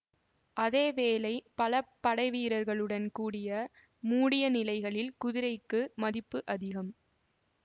அதே வேளை பல படைவீரர்களுடன் கூடிய மூடிய நிலைகளில் குதிரைக்கு மதிப்பு அதிகம்